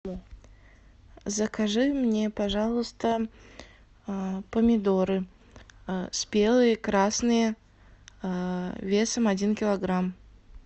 закажи мне пожалуйста помидоры спелые красные весом один килограмм